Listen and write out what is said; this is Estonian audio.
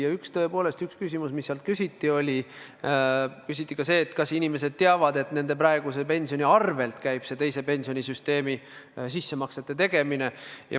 Ja tõepoolest, üks küsimus, mis küsiti, oli see, kas inimesed teavad, et nende põhipensioni arvel käib see teise pensionisamba sissemaksete tegemine.